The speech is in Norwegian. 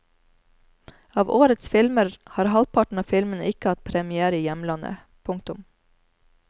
Av årets filmer har halvparten av filmene ikke hatt premiere i hjemlandet. punktum